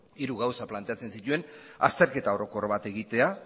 hiru gauza planteatzen zituen azterketa orokor bat egitea